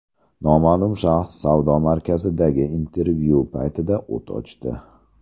Noma’lum shaxs savdo markazidagi intervyu paytida o‘t ochdi.